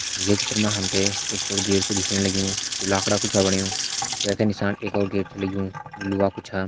ये चित्र मा हम तैं एक बड़ु गेट च छ दिखेण लग्युं जू लाकड़ा कू छ बणयु वह का निशान एक और गेट छ लग्युं जू लोहा कू छ।